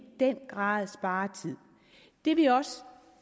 den grad spare tid det vi også